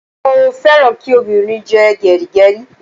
Mo féràn kí obìnrin jẹ́ gẹrígẹrí.